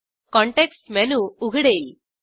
context menu उघडेल